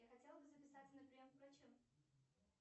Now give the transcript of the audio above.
я хотела бы записаться на прием к врачу